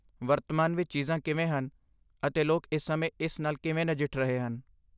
ਵਰਤਮਾਨ ਵਿੱਚ ਚੀਜ਼ਾਂ ਕਿਵੇਂ ਹਨ ਅਤੇ ਲੋਕ ਇਸ ਸਮੇਂ ਇਸ ਨਾਲ ਕਿਵੇਂ ਨਜਿੱਠ ਰਹੇ ਹਨ।